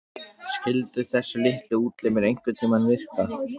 Skyldu þessir litlu útlimir einhverntíma virka?